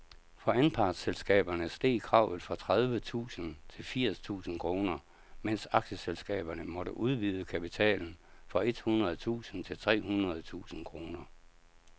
For anpartsselskaberne steg kravet fra tredive tusind til firs tusind kroner, mens aktieselskaberne måtte udvide kapitalen fra et hundrede tusind til tre hundrede tusind kroner.